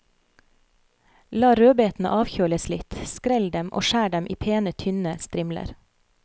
La rødbetene avkjøles litt, skrell dem og skjær dem i pene, tynne strimler.